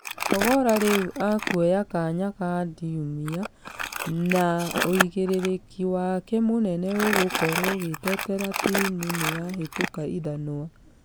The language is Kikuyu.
Ogolla rĩu akuoya kanya ga ndumia , na ũigĩrĩrĩki wake mũnene ũgũkorwo gũtigerera timũ nĩyahĩtũka ithanwa.